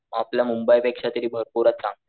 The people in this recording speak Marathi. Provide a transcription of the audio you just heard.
आपल्या मुंबई पेक्षा तर भरपूरच चांगलय.